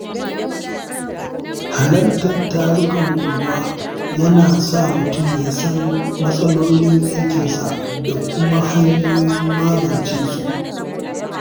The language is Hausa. Halartar tarukan unguwa yana sa mutum ya san matsalolin yankinsa da kuma hanyoyin magance su